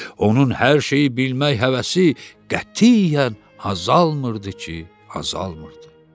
Onun hər şeyi bilmək həvəsi qətiyyən azalmırdı ki, azalmırdı.